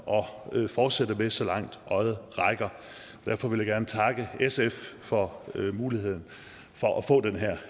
at fortsætte med så langt øjet rækker derfor vil jeg gerne takke sf for muligheden for at få den her